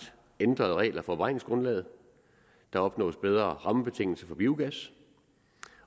ændrede regler for beregningsgrundlaget der opnås bedre rammebetingelser for biogas